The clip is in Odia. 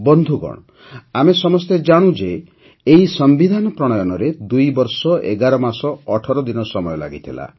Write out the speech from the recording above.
ବନ୍ଧୁଗଣ ଆମେ ସମସ୍ତେ ଜାଣୁ ଯେ ଏହି ସମ୍ବିଧାନ ପ୍ରଣୟନରେ ୨ ବର୍ଷ ୧୧ ମାସ ୧୮ ଦିନ ସମୟ ଲାଗିଥିଲା